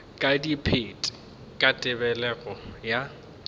ka dipit ka tebelego ya